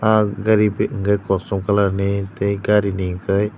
ah gari bit hwnkhe kosom colourni tei garini hwnkhe.